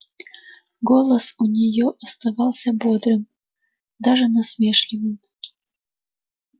голос у нее оставался бодрым даже насмешливым